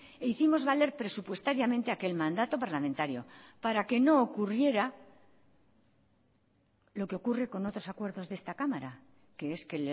e hicimos valer presupuestariamente aquel mandato parlamentario para que no ocurriera lo que ocurre con otros acuerdos de esta cámara que es que